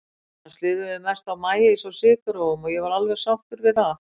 Annars lifðum við mest á maís og sykurrófum, og ég var alveg sátt við það.